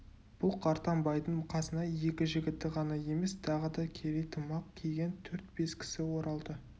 бұл қартаң байдың қасына екі жігіті ғана емес тағы да керей тымақ киген төрт-бес кісі оралды